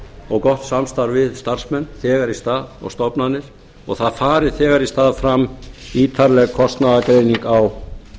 og gott samstarf við starfsmenn þegar í stað og stofnanir og það fari þegar í stað fram ítarleg kostnaðargreining á